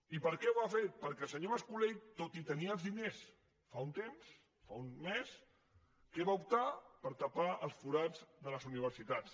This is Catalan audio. i per què ho ha fet perquè el senyor mas colell tot i tenir els diners fa un temps fa un mes per què va optar per tapar els forats de les universitats